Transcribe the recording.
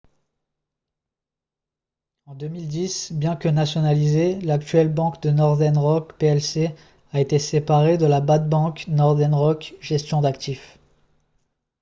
en 2010 bien que nationalisée l'actuelle banque northern rock plc a été séparée de la « bad bank, » northern rock gestion d'actifs